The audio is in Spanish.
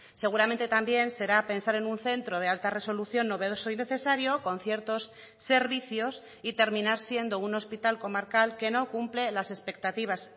seguramente también será pensar en un centro de alta resolución novedoso y necesario con ciertos servicios y terminar siendo un hospital comarcal que no cumple las expectativas